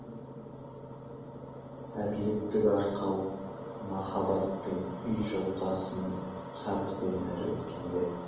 әділеттік арқалық махаббат пен үй жолдасының қабірден әрі өткенде